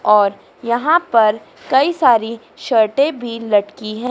और यहां पर कई सारी शरटे भी लटकी है।